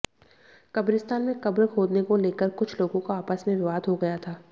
कब्रिस्तान में कब्र खोदने को लेकर कुछ लोगों का आपस में विवाद हो गया था